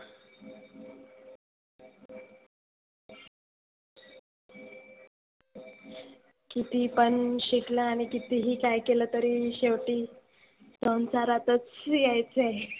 किती पण शिकलं आणि किती ही काही केलं तरी शेवटी संसारातच यायच आहे.